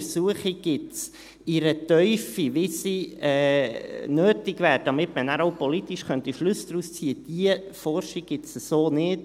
Diese Untersuchung und diese Forschung gibt es in der Tiefe, wie sie nötig wäre, damit man danach auch politisch Schlüsse daraus ziehen könnte, nicht.